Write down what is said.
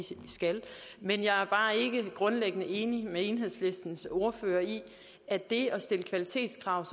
skal men jeg er grundlæggende enig med enhedslistens ordfører i at det at stille kvalitetskrav